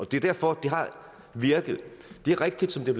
det er derfor det har virket det er rigtigt som det